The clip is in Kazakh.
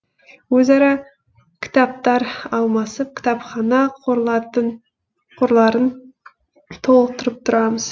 өзара кітаптар алмасып кітапхана қорларын толықтырып тұрамыз